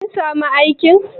Kin samu aikin?